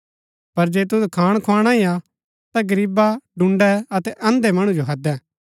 पर जे तुद खाण खुआणा ही हा ता गरीबा डून्‍डै अतै अन्धै मणु जो हैदै